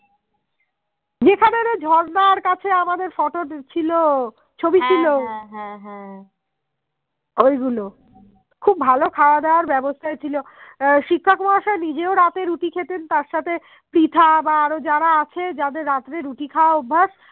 খুব ভালো খাওয়া দাবার ব্যবস্থা ছিল শিক্ষক মহাশয়ে নিজেও রাতে রুটি খেতেন তার সঙ্গে পৃথা বা আরো যারা আছেন যাদের রাত্রে রুটি খাওয়া অভ্যাস